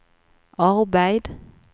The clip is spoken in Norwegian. arbeid